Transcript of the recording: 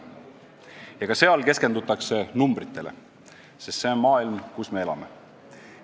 Ja ka seal keskendutakse numbritele, sest see on maailm, kus me elame.